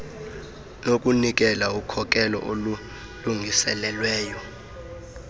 nokunikela ukhokelo olulungiselelweyo